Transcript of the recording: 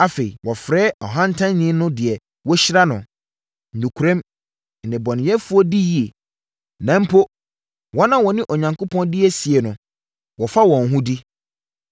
Afei, wɔfrɛ ɔhantanni no deɛ wɔahyira no. Nokorɛm, nnebɔneyɛfoɔ di yie, na mpo wɔn a wɔne Onyankopɔn di asie no, wɔfa wɔn ho di.’ ”